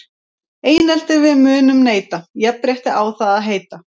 Einelti við munum neita, jafnrétti á það að heita.